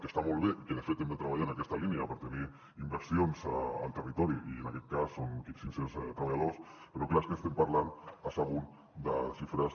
que està molt bé i que de fet hem de treballar en aquesta línia per tenir inversions al territori i en aquest cas són cinc cents treballadors però clar és que estem parlant a sagunt de xifres